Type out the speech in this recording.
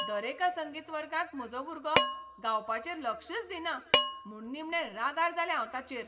दरेका संगीत वर्गांत म्हजो भुरगो गावपाचेर लक्षच दिना म्हूण निमणें रागार जालें हांव ताचेर.